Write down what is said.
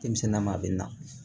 Denmisɛnnin ma a bɛ na